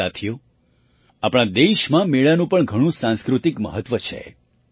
સાથીઓ આપણા દેશમાં મેળાનું પણ ઘણું સાંસ્કૃતિક મહત્ત્વ છે